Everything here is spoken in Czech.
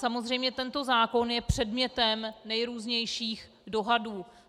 Samozřejmě tento zákon je předmětem nejrůznějších dohadů.